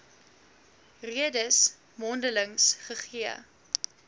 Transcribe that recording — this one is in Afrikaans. redes mondeliks gegee